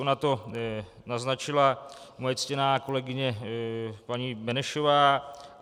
Ona to naznačila moje ctěná kolegyně paní Benešová.